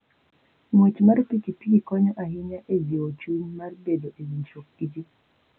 Ng'wech mar pikipiki konyo ahinya e jiwo chuny mar bedo e winjruok gi ji.